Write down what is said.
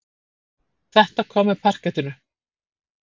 Þetta kom með parkettinu.